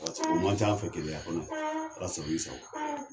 Paseke o man c'an fɛ keleya kuwa ala sago i sago